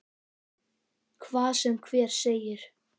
Hvað sem hver segir.